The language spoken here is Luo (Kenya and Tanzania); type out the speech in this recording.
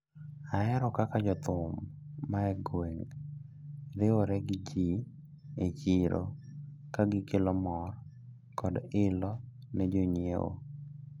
Ahero kaka jothum ma egweng` riwre gi ji e chiro kagikelo mor kod ilo ne jonyiewo.